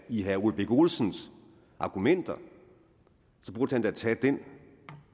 i herre ole birk olesens argumenter burde han da tage den